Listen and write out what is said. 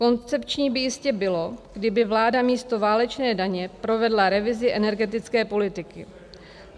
Koncepční by jistě bylo, kdyby vláda místo válečné daně provedla revizi energetické politiky.